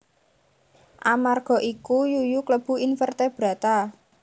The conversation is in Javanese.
Amarga iku yuyu klebu invertebrata